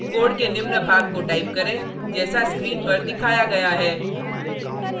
code के निम्न भाग को टाइप करें जैसा स्क्रीन पर दिखाया गया है